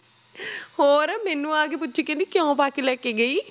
ਹੋਰ ਮੈਨੂੰ ਆ ਕੇ ਪੁੱਛੇ ਕਹਿੰਦੀ ਕਿਉਂ ਪਾ ਕੇ ਲੈ ਕੇ ਗਈ।